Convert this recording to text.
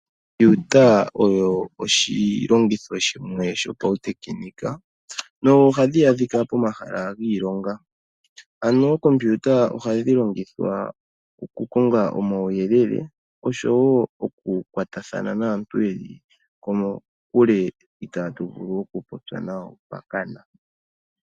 Okompiuta oyo oshilongitho shimwe shopautekinika nohadhi adhika pomahala giilonga. Ookompiuta ohadhi longithwa okukonga omauyelele oshowo okukwatathana naantu yeli kokule itaatu vulu okupopya nawo pakana.